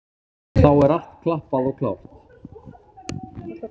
Þá er allt klappað og klárt.